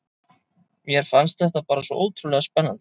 Mér fannst þetta bara svo ótrúlega spennandi.